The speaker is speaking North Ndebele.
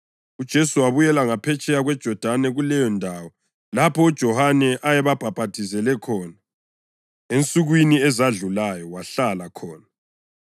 UJesu wabuyela ngaphetsheya kweJodani kuleyondawo lapho uJohane ayebhaphathizela khona ensukwini ezedlulayo. Wahlala khona,